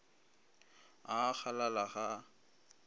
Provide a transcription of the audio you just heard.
a a galala ga a